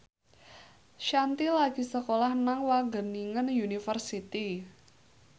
Shanti lagi sekolah nang Wageningen University